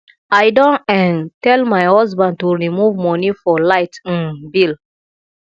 i don um tell my husband to remove money for light um bill